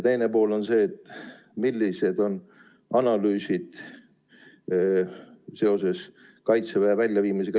Teine pool on see, millised on analüüsid seoses Kaitseväe linnas väljaviimisega.